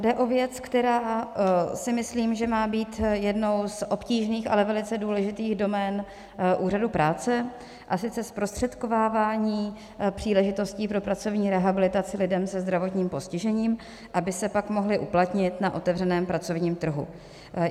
Jde o věc, která si myslím, že má být jednou z obtížných, ale velice důležitých domén úřadu práce, a sice zprostředkovávání příležitostí pro pracovní rehabilitaci lidem se zdravotním postižením, aby se pak mohli uplatnit na otevřeném pracovním trhu.